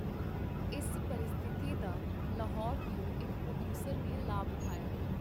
ਇਸ ਪਰਿਸਥਿਤੀ ਦਾ ਲਾਹੌਰ ਦਿਓ ਇਕ ਪਰੋਡੀਊਸਰ ਨੇ ਲਾਭ ਉਠਾਇਆ.